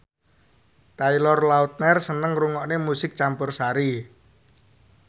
Taylor Lautner seneng ngrungokne musik campursari